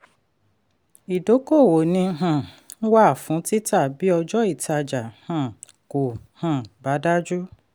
idókòwò ni um wà fún títà bí ọjọ́ ìtajà um kò um bá dájú.